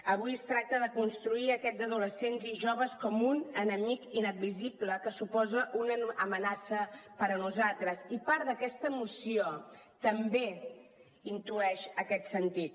avui es tracta de construir aquests adolescents i joves com un enemic inadmissible que suposa una amenaça per a nosaltres i part d’aquesta moció també intueix aquest sentit